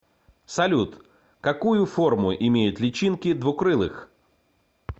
салют какую форму имеют личинки двукрылых